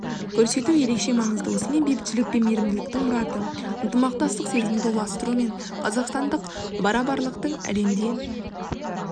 көрсету ерекше маңызды осымен бейбітшілік пен мейірімділіктің мұраты ынтымақтастық сезімді ұластыру мен қазақстандық барабарлықтың әлемде